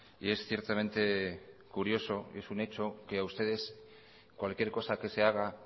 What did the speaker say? y es ciertamente curioso y es un hecho que a ustedes cualquier cosa que se haga